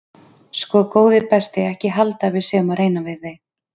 Sko góði besti ekki halda að við séum að reyna við þig.